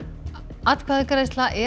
atkvæðagreiðsla er